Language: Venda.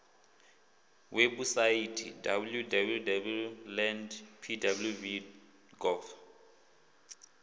webusaithi www land pwv gov